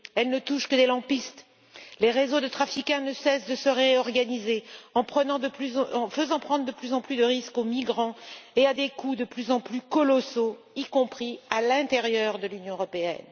Elles ne touchent que les lampistes. Les réseaux de trafiquants ne cessent de se réorganiser en faisant prendre de plus en plus de risques aux migrants, et à des coûts de plus en plus colossaux, y compris à l'intérieur de l'Union européenne.